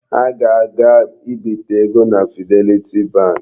Ha ga-aga ibite ego na Fidelity bank.